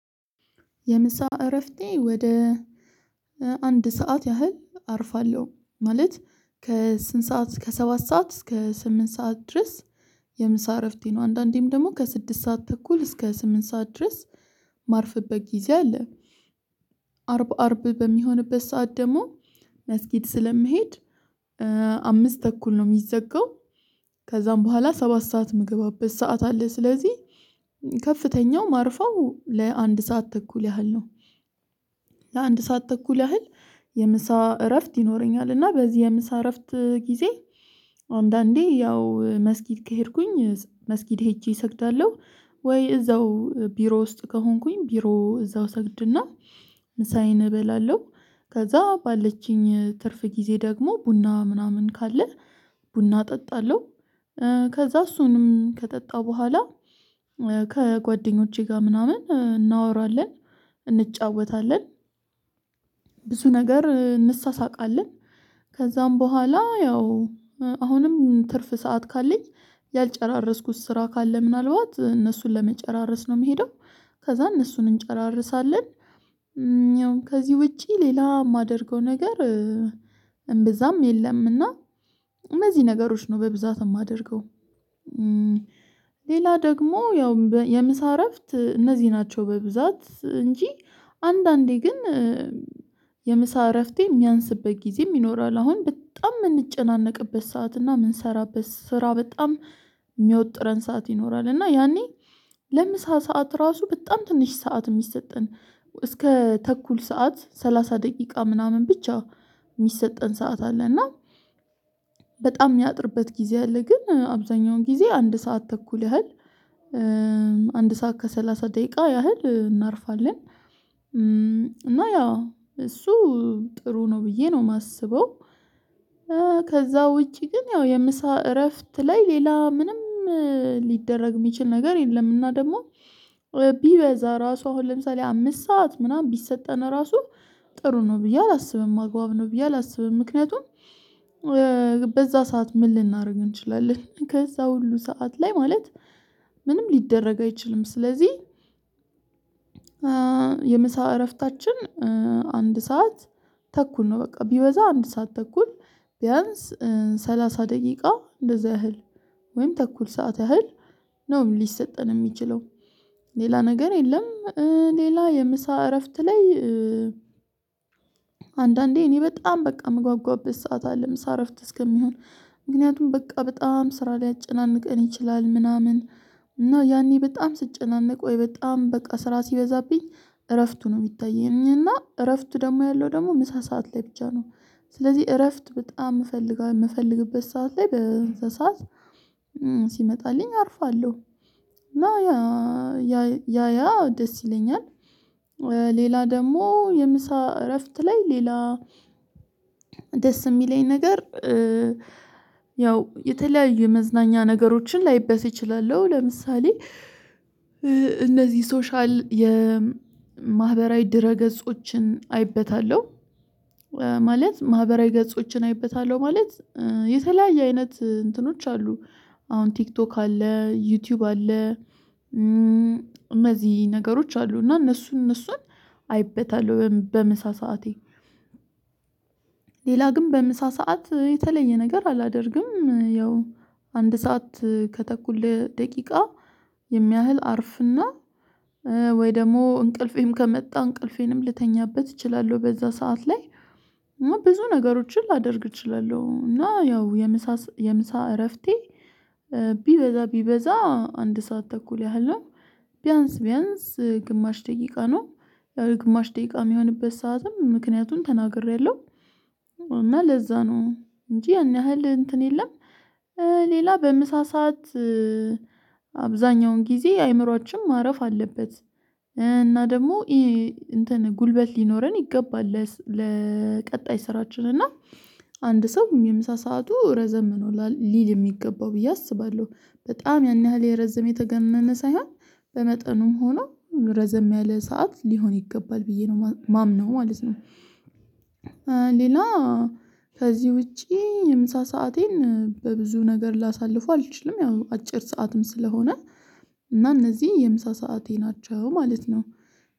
የምሳ እረፍቴ ወደ አንድ ሰዓት ያህል አርፋለሁ ማለት ከስንት ሰዓት እስከ ሰባት ሰዓት እስከ ስምንት ሰዓት ድረስ። የምሳ እረፍቴ ነው አንዳንዴም ደግሞ ከስድስት ሰዓት ተኩል እስከ ስምንት ሰዓት ድረስ። ማርፍበት ጊዜ አለ። አርብ አርብ በሚሆንበት ሰዓት ደግሞ መስጊድ ስለሚሄድ። አምስት ተኩል ነው የሚዘጋው። ከዛም በኋላ ሰባት ሰዓት የምገባበት ሰዓት አለ። ስለዚህ ከፍተኛው ማርፋው ለአንድ ሰዓት ተኩል ያህል ነው። ለአንድ ሰዓት ተኩል ያህል የምሳ እረፍት ይኖረኛል። እና በዚህ የምሳ እረፍት ጊዜ አንዳንዴ ያው መስጊድ ከሄድኩኝ መስጊድ ሄጄ እሰግዳለሁ። ወይ እዛው ቢሮ ውስጥ ከሆንኩኝ ቢሮ እዛው ሰግድና ምሳዬን እበላለሁ። ከዛ ባለችኝ ትርፍ ጊዜ ደግሞ ቡና ምናምን ካለ ቡና እጠጣለሁ። ከዛ እሱንም ከጠጣሁ በኋላ ከጓደኞቼ ጋር ምናምን እናወራለን እንጫወታለን። ብዙ ነገር እንሳሳቃለን። ከዛም በኋላ ያው አሁንም ትርፍ ሰዓት ካለኝ ያልጨራረስኩት ስራ ካለ ምናልባት እነሱን ለመጨራረስ ነው የምሄደው። ከዛ እነሱን እንጨራረሳለን። ከዚህ ውጪ ሌላ የማደርገው ነገር እምብዛም የለምና እነዚህ ነገሮች ነው በብዛት የማደርገው። ሌላ ደግሞ ያው የምሳ እረፍት እነዚህ ናቸው በብዛት እንጂ። አንዳንዴ ግን የምሳ እረፍቴ የሚያንስበት ጊዜ ይኖራል። አሁን በጣም የምንጨናነቅበት ሰዓት እና የምንሰራበት ስራ በጣም የሚወጥረን ሰዓት ይኖራል እና ያኔ ለምሳ ሰዓት ራሱ በጣም ትንሽ ሰዓት ነው የሚሰጠን። እስከ ተኩል ሰዓት ሰላሳ ደቂቃ ምናምን ብቻ የሚሰጠን ሰዓት አለ። እና በጣም የሚያጥርበት ጊዜ አለ። ግን አብዛኛውን ጊዜ አንድ ሰዓት ተኩል ያህል አንድ ሰዓት ከሰላሳ ደቂቃ ያህል እናርፋለን። እና ያው እሱ ጥሩ ነው ብዬ ነው የማስበው። ከዛ ውጪ ግን ያው የምሳ እረፍት ላይ ሌላ ምንም ሊደረግ የሚችል ነገር የለም። እና ደግሞ ቢበዛ ራሱ አሁን ለምሳሌ አምስት ሰዓት ምናምን ቢሰጠን ራሱ ጥሩ ነው ብዬ አላስብም። አግባብ ነው ብዬ አላስብም ምክንያቱም በዛ ሰዓት ምን ልናደርግ እንችላለን? ከዛ ሁሉ ሰዓት ላይ ማለት ምንም ሊደረግ አይችልም። ስለዚህ የምሳ እረፍታችን አንድ ሰዓት ተኩል ነው። በቃ ቢበዛ አንድ ሰዓት ተኩል ቢያንስ ሰላሳ ደቂቃ እንደዛ ያህል ወይም ተኩል ሰዓት ያህል ነው ሊሰጠን የሚችለው። ሌላ ነገር የለም። ሌላ የምሳ እረፍት ላይ አንዳንዴ እኔ በጣም በቃ የምጓጓበት ሰዓት አለ ምሳረፍት እስከሚሆን። ምክንያቱም በቃ በጣም ስራ ሊያጨናንቀን ይችላል። ምናምን እና ያኔ በጣም ስጨናነቅ ወይ በጣም በቃ ስራ ሲበዛብኝ እረፍቱ ነው የሚታየኝ እና እረፍቱ ደግሞ ያለው ደግሞ ምሳ ሰዓት ላይ ብቻ ነው። ስለዚህ እረፍት በጣም እፈልጋለሁ የምፈልግበት ሰዓት ላይ በዚያ ሰዓት ሲመጣልኝ አርፋለሁ። እና ያ ያ ያ ደስ ይለኛል። ሌላ ደግሞ የምሳ እረፍት ላይ ሌላ ደስ የሚለኝ ነገር ያው የተለያዩ የመዝናኛ ነገሮችን ላይበስ እችላለሁ። ለምሳሌ እነዚህ ሶሻል የማህበራዊ ድረ ገጾችን አይበታለሁ። ማለት ማህበራዊ ገጾችን አይበታለሁ ማለት። የተለያየ አይነት እንትኖች አሉ። አሁን ቲክቶክ አለ ዩቲዩብ አለ። እነዚህ ነገሮች አሉ እና እነሱን እነሱን አይበታል። በምሳ ሰዓቴ ሌላ ግን በምሳ ሰዓት የተለየ ነገር አላደርግም። ያው አንድ ሰዓት ከተኩል ደቂቃ የሚያህል አርፍና ወይ ደግሞ እንቅልፌን ከመጣ እንቅልፌንም ልተኛበት እችላለሁ። በዛ ሰዓት ላይ ብዙ ነገሮችን ላደርግ እችላለሁ። እና ያው የምሳ የምሳ እረፍቴ ቢበዛ ቢበዛ አንድ ሰዓት ተኩል ያህል ነው። ቢያንስ ቢያንስ ግማሽ ደቂቃ ነው። ያው የግማሽ ደቂቃ የሚሆንበት ሰዓትም ምክንያቱን ተናግሬያለሁ። እና ለዛ ነው እንጂ ያን ያህል እንትን የለም። ሌላ በምሳ ሰዓት ሰዓት አብዛኛውን ጊዜ አይምሮአችን ማረፍ አለበት። እና ደግሞ ይሄ እንትን ጉልበት ሊኖረን ይገባል ለቀጣይ ስራችን እና አንድ ሰው የምሳ ሰዓቱ ረዘም ነው ሊል የሚገባው ብዬ አስባለሁ። በጣም ያን ያህል የረዘም የተጋነነ ሳይሆን በመጠኑም ሆኖ ረዘም ያለ ሰዓት ሊሆን ይገባል ብዬ ነው የማምነው ማለት ነው። ሌላ ከዚህ ውጪ ምሳ ሰአቴን በብዙ ነገር ላሳልፉ አልችልም። ያው አጭር ሰዓትም ስለሆነ እና እነዚህ የምሳ ሰዓቴ ናቸው ማለት ነው።